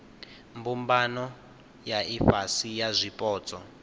mbumbano ya ifhasi ya zwipotso